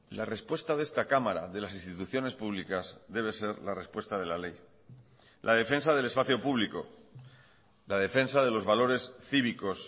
la respuesta de esta cámara de las instituciones públicas debe ser la respuesta de la ley la defensa del espacio público la defensa de los valores cívicos